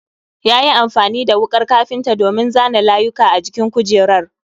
Yayi amfani da wukar kafinta domin zana layuka a jikin kujerar